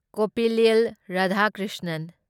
Koppillil Radhakrishnan